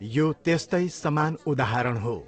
यो त्यस्तै समान उदाहरण हो।